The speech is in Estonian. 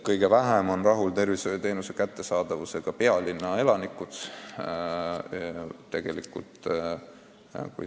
Kõige vähem on tervishoiuteenuse kättesaadavusega rahul pealinna elanikud.